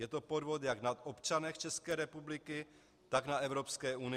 Je to podvod jak na občanech České republiky, tak na Evropské unii.